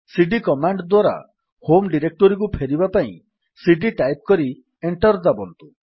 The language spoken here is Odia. ସିଡି କମାଣ୍ଡ୍ ଦ୍ୱାରା ହୋମ୍ ଡିରେକ୍ଟୋରୀକୁ ଫେରିବା ପାଇଁ ସିଡି ଟାଇପ୍ କରି ଏଣ୍ଟର୍ ଦାବନ୍ତୁ